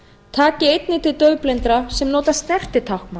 taki einnig til daufblindra sem nota snertitáknmál